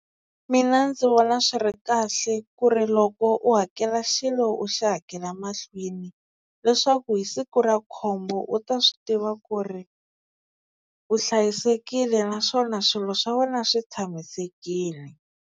Mina ndzi vona swi ri kahle ku ri loko u hakela xilo u xi hakela mahlweni leswaku hi siku ra khombo u ta swi tiva ku ri u hlayisekile naswona swilo swa wena swi tshamisekile.